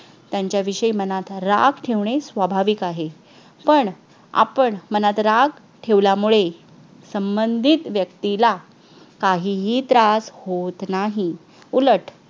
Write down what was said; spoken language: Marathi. त्यांच्याविषयी मनात राग ठेवणे. स्वाभाविक आहे पण आपण मनात राग ठेवल्यामुळे संबंधित व्यक्तीला काही ही त्रास होत नाही. उलट